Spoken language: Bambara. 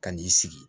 Ka n'i sigi